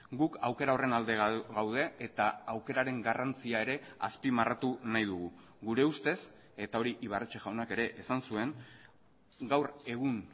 guk aukera horren alde gaude eta aukeraren garrantzia ere azpimarratu nahi dugu gure ustez eta hori ibarretxe jaunak ere esan zuen gaur egun